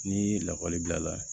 Ni lakɔli bila la